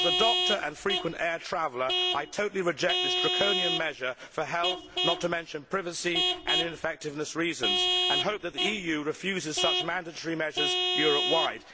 As a doctor and frequent air traveller, I totally reject this draconian measure for health reasons, not to mention privacy and ineffectiveness reasons, and I hope that the EU refuses such mandatory measures Europe wide.